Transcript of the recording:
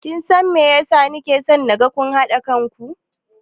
Kin san me yasa na ke so naga kun haɗa kan ku?